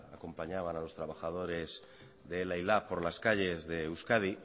acompañaban a los trabajadores de ela y lab por las calles de euskadi